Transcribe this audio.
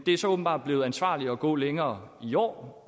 er så åbenbart blevet ansvarligt at gå længere i år